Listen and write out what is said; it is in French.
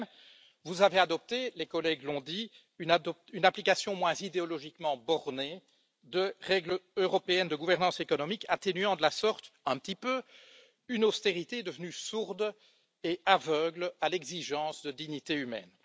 De même, vous avez adopté, les collègues l'ont dit, une application moins idéologiquement bornée de règles européennes de gouvernance économique atténuant de la sorte, un petit peu, une austérité devenue sourde et aveugle à l'exigence de dignité humaine.